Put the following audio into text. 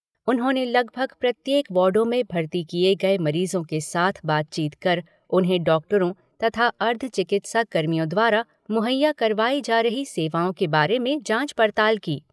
उन्होंने लगभग प्रत्येक वार्डों में भर्ती किए गए मरीजों के साथ बातचीत कर उन्हें डॉक्टरों तथा अर्ध चिकित्सा कर्मियों द्वारा मुहैया करवाई जा रही सेवाओं के बारे में जांच पड़ताल की।